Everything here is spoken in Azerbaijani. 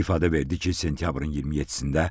İfadə verdi ki, sentyabrın 27-də